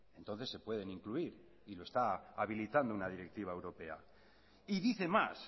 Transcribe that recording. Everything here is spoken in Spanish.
entonces se pueden incluir y lo está habilitando una directiva europea y dice más